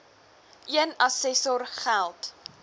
een assessor geld